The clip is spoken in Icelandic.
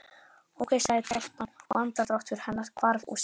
Ókei sagði telpan og andardráttur hennar hvarf úr símanum.